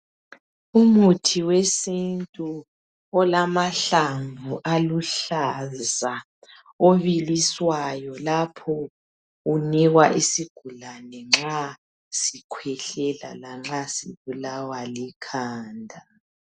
Umuthi wesintu olamahlamvu aluhlaza obiliswayo lapho kunikwa isigulane nxa sikhwehlela lanxa sibulawa likhanda.